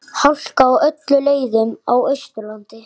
Hálka á öllum leiðum á Austurlandi